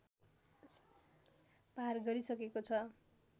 पार गरिसकेको छ